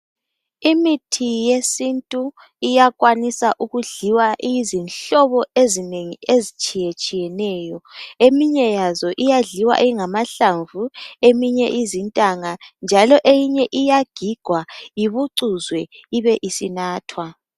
Imithi yesintu uyakwanisa ukudliwa isihlobo ezitshiyeneyo. Eyinye iyadliwa ingamahlamvu, eyinye iyagigwa njalo ibicuzwe ibe isinathwa.